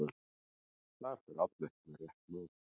Þar fer Árni ekki með rétt mál.